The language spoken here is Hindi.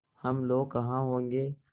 हम लोग कहाँ होंगे